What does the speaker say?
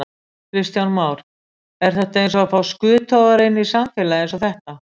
Kristján Már: Er þetta eins og að fá skuttogara inn í samfélag eins og þetta?